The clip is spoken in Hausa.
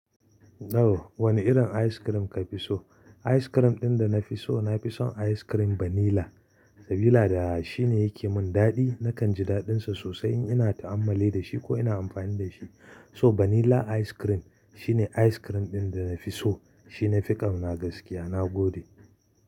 To. Wane irin ice cream ka fi so? Ice cream ɗin da na fi so, na fi son ice cream vanilla, sabila da shine yake mun daɗi. Nakan ji daɗinsa sosai in ina ta'ammali da shi ko ina amfani da shi. So vanilla ice cream shine ice cream ɗin da na fi so. Shi na fi ƙauna gaskiya, na gode.